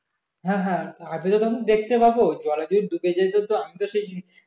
হ্যাঁ হ্যাঁ আমি তো তখন দেখতে পাবো জলে যদি ডুবে যাই তো আমি তো সেই